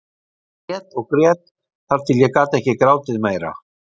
Ég grét og grét þar til ég gat ekki grátið meira.